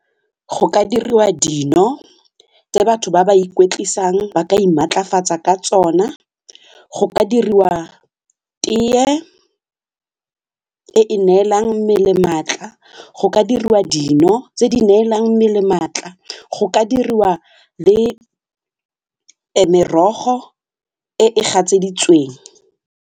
Go ka diriwa dino tse batho ba ba ikwetlisang ba ka imaatlafatsa ka tsona, go ka diriwa tee e e neelang mmele maatla, go ka diriwa dino tse di neelang mmele maatla, go ka diriwa le merogo e e gatseditsweng.